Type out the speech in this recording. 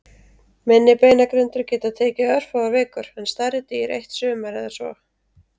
Minni beinagrindur geta tekið örfáar vikur en stærri dýr eitt sumar eða svo.